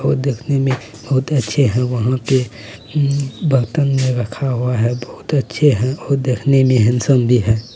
वो देखने में बहुत अच्छे हैं वहाँ पे उम्म बर्तन रखा हुआ है बहुत अच्छे हैं और वो देखने में बहुत हैंडसम भी हैं।